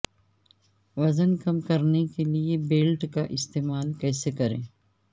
وزن کم کرنے کے لئے بیلٹ کا استعمال کیسے کریں